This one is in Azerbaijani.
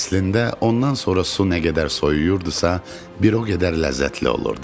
Əslində ondan sonra su nə qədər soyuyurdusa, bir o qədər ləzzətli olurdu.